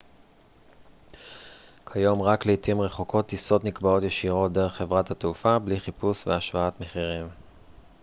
כיום רק לעתים רחוקות טיסות נקבעות ישירות דרך חברת התעופה בלי חיפוש והשוואת מחירים